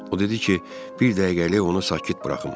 O dedi ki, bir dəqiqəlik onu sakit buraxım.